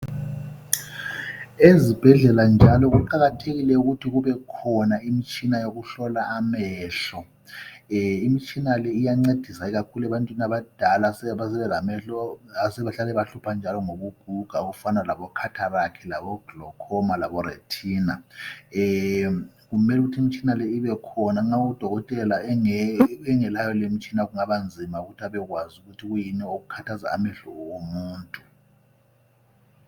Ezibhedlela njalo kuqakathekile ukuthi kube khona imtshina yokuhlola amehlo. lmtshina le iyancedisa kakhulu ebantwini abadala esebelamehlo asebahlupha njalo ngokuguga okufana labo khatharakhi, glokhoma labo rethina. Kumele kuthi imtshina leyi ibekhona ma udokotela engelayo lemtshina kungaba nzima ukuthi abekwazi ukuthi kwiyini okukhaza amehlo womuntu.